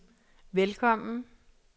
velkommen